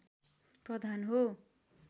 प्रधान हो